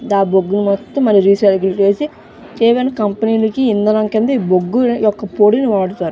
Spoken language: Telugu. ఆ బొగ్గులు మొత్తం రిసైకిల్ చేసి కంపెనీ ఇందంనం కింద ఈ బొగ్గు పొడిని వాడుతారు.